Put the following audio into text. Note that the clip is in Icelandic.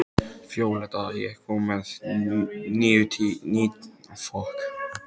Víóletta, ég kom með níutíu og sex húfur!